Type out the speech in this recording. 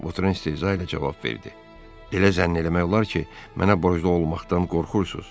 Votren istehza ilə cavab verdi: Elə zənn eləmək olar ki, mənə borclu olmaqdan qorxursuz.